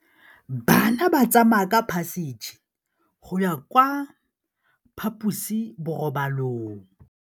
Bana ba tsamaya ka phašitshe go ya kwa phaposiborobalong.